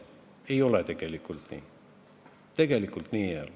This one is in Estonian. Ei ole tegelikult nii.